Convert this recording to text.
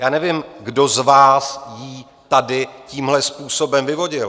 Já nevím, kdo z vás ji tady tímhle způsobem vyvodil.